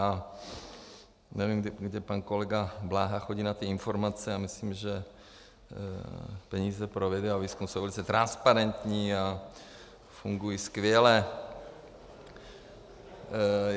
A nevím, kde pan kolega Bláha chodí na ty informace, a myslím, že peníze na vědu a výzkum jsou velice transparentní a fungují skvěle.